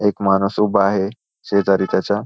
एक माणूस उभा आहे शेजारी त्याच्या --